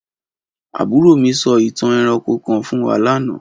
Aburo mi so itan eranko kan fun wa lana.